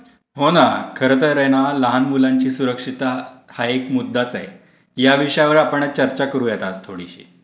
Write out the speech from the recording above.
हो ना. खरतर न लहान मुलांची सुरक्षितता हा एक मुद्दाच आहे. या विषयावर आपण आज चर्चा करूया आज थोडीशी.